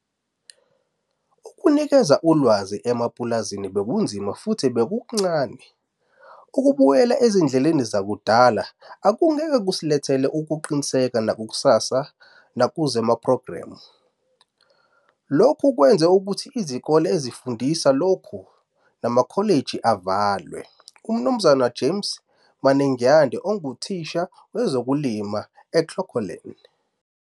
Ukunikeza ulwazi emapulazini bekunzima futhi bekuncane. Ukubuyela ezindleleni zakudala akungeke kusilethele ukuqinisa nakusasa nakusephrogramini. Lokhu kwenze ukuthi izikole ezifundisa lokhu namkholiji avalwe, UMnz James Manengyande unguthisha wezokulima eClocolan.